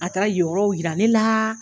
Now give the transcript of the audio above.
A taara yen yɔrɔw yira ne la.